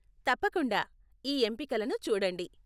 తప్పకుండా, ఈ ఎంపికలను చూడండి.